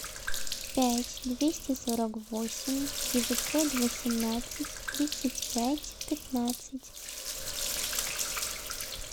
пять двести сорок восемь девятьсот восемнадцать тридцать пять пятнадцать